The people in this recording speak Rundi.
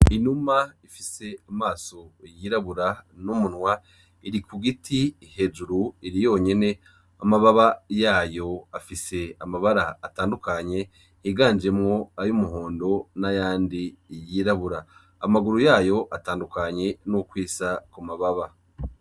Inuma ifise amaso yirabura n'umunwa iri ku giti hejuru iri yonyene, amababa yayo afise amabara atandukanye higanjemwo ay'umuhondo n'ayandi yirabura, amaguru yayo atandukanye nukw'isa ku mababa.